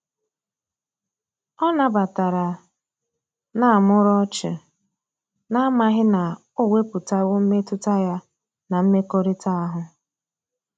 Ọ na batara na muru ochi, na amaghi na o weputawo mmetụta ya na mmekorita ahu.